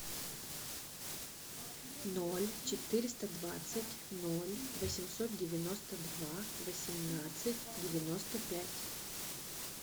ноль четыреста двадцать ноль восемьсот девяносто два восемнадцать девяносто пять